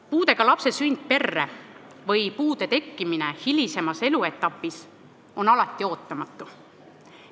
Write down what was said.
Puudega lapse sünd perre või puude tekkimine lapse hilisemas eluetapis on alati ootamatu.